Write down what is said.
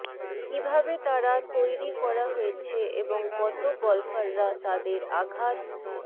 কিভাবে তারা তৈরি করা হয়েছে এবং কত গল্ফাররা তাদের আঘাত